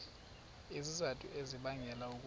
izizathu ezibangela ukuba